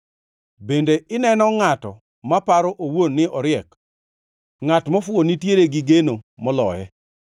Bende ineno ngʼato ma paro owuon ni oriek? Ngʼat mofuwo nitiere gi geno moloye.